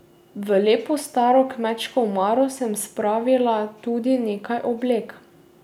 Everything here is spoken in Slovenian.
V lepo staro kmečko omaro sem spravila tudi nekaj oblek.